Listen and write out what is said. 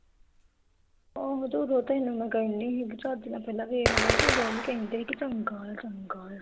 ਆਹੋ ਤੇ ਉਦੋਂ ਤੈਨੂੰ ਮੈਂ ਕਹਿੰਦੀ ਸੀ ਵੀ ਚੱਜ ਨਾਲ ਪਹਿਲਾਂ ਵੇਖਲੋ ਉਦੋਂ ਹੀ ਕਹਿੰਦੇ ਵੀ ਚੰਗਾ ਆ ਚੰਗਾ ਆ